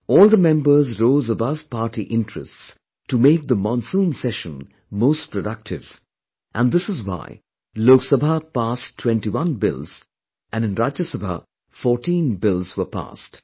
All the members rose above party interests to make the Monsoon session most productive and this is why Lok Sabha passed 21 bills and in Rajya Sabha fourteen bills were passed